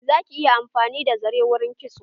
Za ki yi amfani da zare wurin kitso.